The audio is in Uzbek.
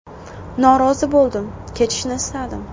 Norozi bo‘ldim, ketishni istadim.